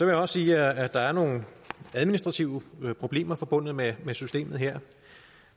jeg også sige at der er nogle administrative problemer forbundet med systemet her